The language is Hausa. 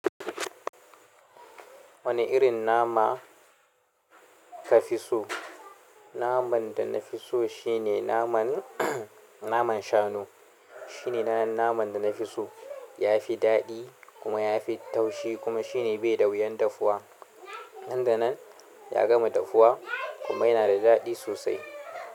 Wane irin nama ka fi so? Naman da na fi so shine naman, naman shanu. Shine naman da nafi so. Ya fi daɗi kuma ya fi taushi kuma shine bai da wuyan dafuwa. Nan da nan ya gama dafuwa kuma yana da daɗi sosai.